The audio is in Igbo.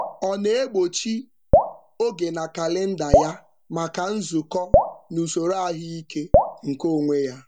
Ọ na-egbochi oge na kalịnda ya maka nzukọ na usoro ahụike nke onwe ya.